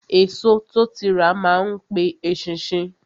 Èso tó ti rà má n pe eṣinṣin